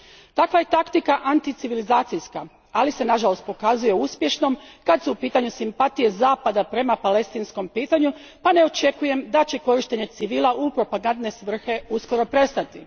Takva je taktika anticivilizacijska, ali se nažalost pokazuje uspješnom kad su u pitanju simpatije Zapada prema palestinskom pitanju pa ne očekujem da će korištenje civila u propagandne svrhe uskoro prestati.